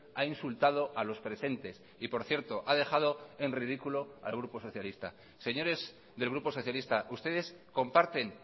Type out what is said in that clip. ha insultado a los presentes y por cierto ha dejado en ridículo al grupo socialista señores del grupo socialista ustedes comparten